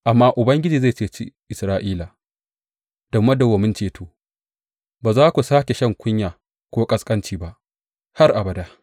Amma Ubangiji zai ceci Isra’ila da madawwamin ceto; ba za ku sāke shan kunya ko ƙasƙanci ba, har abada.